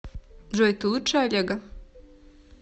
джой ты лучше олега